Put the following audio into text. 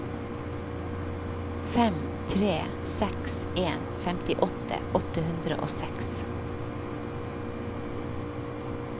fem tre seks en femtiåtte åtte hundre og seks